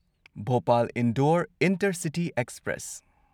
Bhopal Indore intercity express